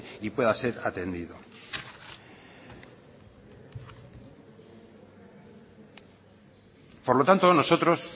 y pueda ser atendido por lo tanto nosotros